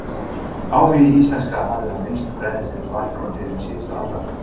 Áhugi íslenskra aðila á vinnslu brennisteins vaknaði í byrjun síðustu aldar.